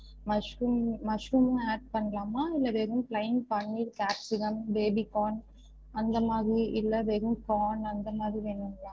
Mushroom mushroom add பண்ணலாமா இல்ல வெறும் plain paneer capsicum baby corn அந்த மாதிரி இல்ல வெறும் corn அந்த மாதிரி வேணும்களா?